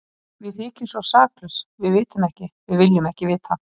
Við þykjumst svo saklaus, við vitum ekki, við viljum ekki vita.